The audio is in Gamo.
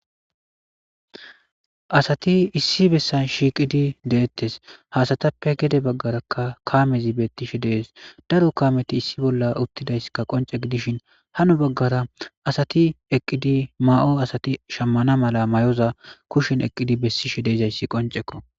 Asati issi bessan shiiqidi deettes hasatappe gede baggarakka kaamezi bettishe dees daro kaameti issi bolla uttidaysska qonce gidishin hano baggara asati eqqidi ma'oo asati shammana mala may'oza kushen eqqidi bessishe deezayssi qoncekko.